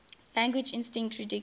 language instinct ridiculed